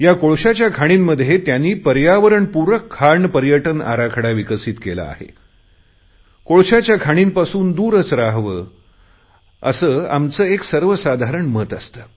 या कोळशाच्या खाणींपासून दूरच रहावे असे आमचे एक सर्वसाधारण मत असते